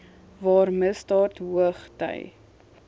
waar misdaad hoogty